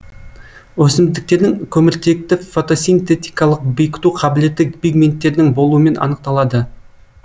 өсімдіктердің көміртекті фотосинтетикалық бекіту қабілеті пигменттердің болуымен анықталады